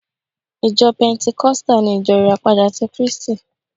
Ìjọ pẹntikọ́stà ni Ìjọ Ìràpadà ti kríístì